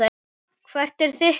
Hvert er þitt svar?